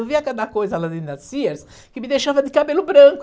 Eu via cada coisa lá dentro da Sears que me deixava de cabelo branco.